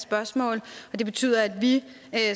spørgsmål og det betyder at vi